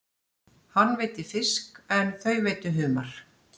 Hann veiddi fisk en þau veiddu humar.